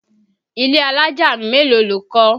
Ilé alájà mélòó lo kọ́?